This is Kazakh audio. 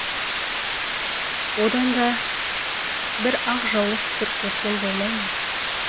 одан да бір ақ жаулық түсіріп берсең болмай ма